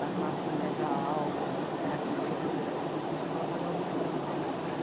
da classe média alta, que era quem tinha poder aquisitivo para pagar o Viramundo.